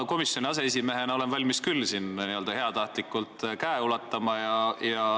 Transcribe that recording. Ma komisjoni aseesimehena olen valmis küll n-ö heatahtlikult käe ulatama.